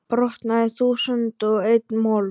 brotnaði í þúsund og einn mola.